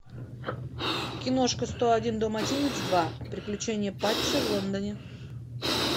киношка сто один далматинец два приключения патча в лондоне